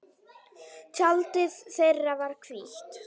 Tjaldið þeirra var hvítt.